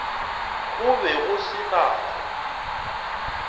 go be go se nako